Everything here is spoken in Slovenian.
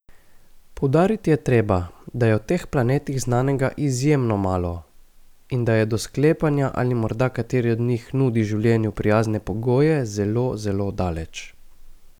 Poudariti je treba, da je o teh planetih znanega izjemno malo in da je do sklepanja, ali morda kateri od njih nudi življenju prijazne pogoje, zelo, zelo daleč.